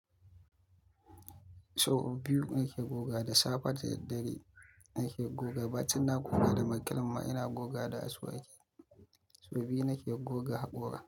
Sau biyu nake goga da safe da daddare nake goga. Ba tuna goga da makilma, ina goga da asuwaki. Sau biyu nake goga haƙora.